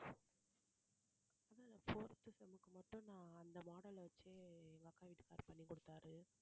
fourth sem க்கு மட்டும் நான் அந்த model வச்சியே எங்க அக்கா வீட்டுக்காரர் பண்ணி கொடுத்தார்